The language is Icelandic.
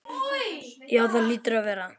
Jú það hlýtur að vera.